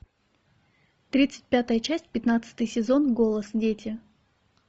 тридцать пятая часть пятнадцатый сезон голос дети